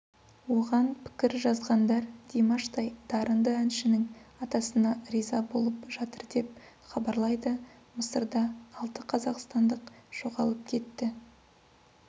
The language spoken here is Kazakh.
оған пікір жазғандар димаштай дарынды әншінің атасына риза болып жатыр деп хабарлайды мысырда алтықазақстандық жоғалып кетті